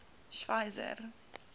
schweizer